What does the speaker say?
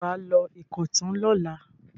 Ṣé wà á lọ Ìkọ̀tún lọ́la?